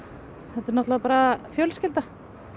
þetta er náttúrulega bara fjölskylda